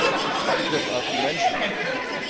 Es ist ein Angriff auf die Menschenrechte.